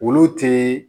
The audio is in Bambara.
Olu ti